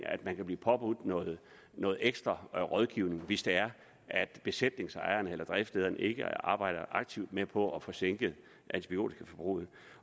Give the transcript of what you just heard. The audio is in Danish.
at man kan blive påbudt noget ekstra rådgivning hvis det er at besætningsejeren eller driftslederen ikke arbejder aktivt med på at få sænket antibiotikaforbruget